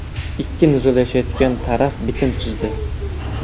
Ikki nizolashayotgan taraf bitim tuzdi.